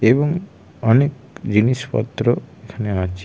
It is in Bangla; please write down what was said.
এবং অনেক জিনিসপত্র এখানে আছে।